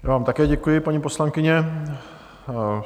Já vám také děkuji, paní poslankyně.